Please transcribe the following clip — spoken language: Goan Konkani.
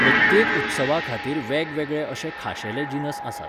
प्रत्येक उत्सवा खातीर वेगवेगळे अशे खाशेले जिनस आसात.